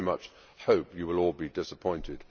I very much hope you will all be disappointed.